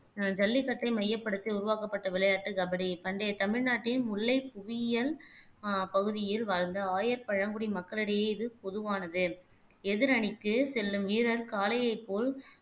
ஆஹ் ஜல்லிக்கட்டை மையப்படுத்தி உருவாக்கப்பட்ட விளையாட்டு கபடி பண்டைய தமிழ்நாட்டின் முல்லை புவியியல் ஆஹ் பகுதியில் வாழ்ந்த ஆயர் பழங்குடி மக்களிடையே இது பொதுவானது எதிரணிக்கு செல்லும் வீரர் காளையை போல்